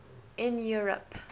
in europe